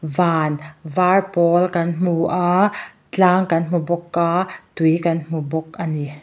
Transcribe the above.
van var pawl kan hmu a tlang kan hmu bawk a tui kan hmu bawk a ni.